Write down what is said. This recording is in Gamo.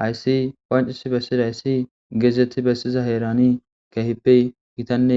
Hayssi qonciss bessida issi geezetti bessiza heerani keehippe gitanne